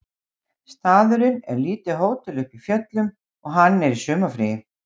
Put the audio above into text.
Staðurinn er lítið hótel uppi í fjöllum og hann er í sumarfríi